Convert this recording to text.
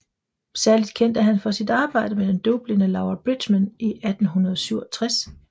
Særligt kendt er han for sit arbejde med den døvblinde Laura Bridgman i 1837